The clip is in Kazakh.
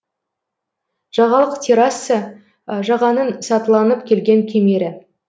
жағалық терраса жағаның сатыланып келген кемері